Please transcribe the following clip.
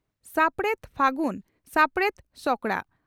᱾ᱥᱟᱯᱲᱮᱫ ᱯᱷᱟᱹᱜᱩᱱ ᱥᱟᱯᱲᱮᱛ ᱥᱚᱠᱲᱟ